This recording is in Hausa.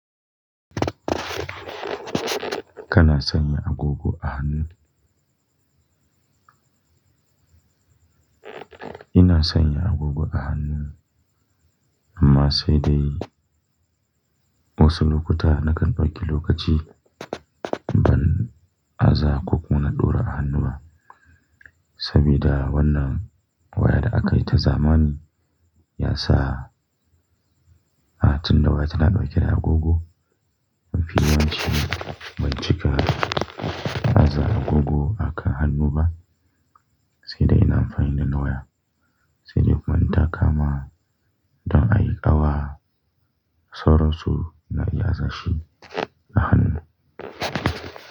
Kana sanya agogo a hannu? Ina sanya agogo a hannu amma sai dai wasu lokuta na kan dau ki lokaci ban aza ko ƙona ɗora a hannu ba. Sabida wannan waya da aka yi ta zamani ya sa hatun da waya tana ɗauke da agogo. Amfihi yace ban cika aza agogo akan hannu ba, sai dai ina amfani dana waya. Sai dai ban taka ma don a yi ƙawa, sauransu na iya sashi a hannu.